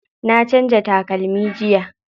Na canza takalmi jiya.